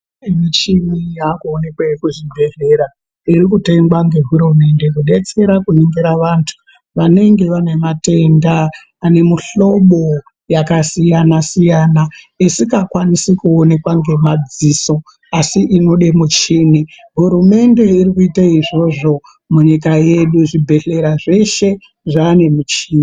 Michini yakuonekwe kuzvibhedhlera irikutengwa ngehurumende kubetsera kuningira vantu vanenge vane matenda ane muhlobo vakasiyana-siyana. Isikakwanisi kuonekwa ngemadziso asi inode muchini hurumende irikuite izvozvo nyika yedu zvibhedhlera zveshe zvane michini.